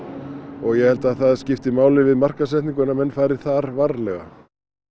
og ég held að það skipti máli við markaðssetningu að menn fari þar varlega